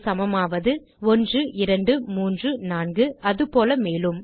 இது சமமாவது 1 2 3 4 அது போல மேலும்